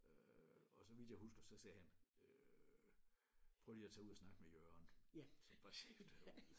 Øh og så vidt jeg husker så sagde han øh prøv lige at tage ud og snakke med Jørgen som var chef derude